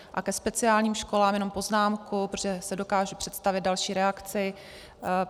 A ke speciálním školám jenom poznámku, protože si dokážu představit další reakci.